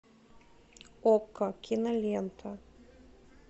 окко кинолента